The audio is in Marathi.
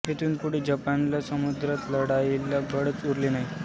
येथून पुढे जपानला समुद्रात लढायला बळच उरले नाही